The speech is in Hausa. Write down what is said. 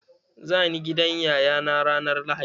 Za ni gidan yaya na ranar lahadi.